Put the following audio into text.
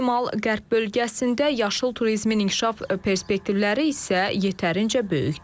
Şimal-qərb bölgəsində yaşıl turizmin inkişaf perspektivləri isə yetərincə böyükdür.